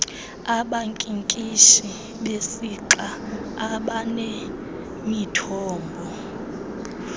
abankinkishi besixa abanemithombo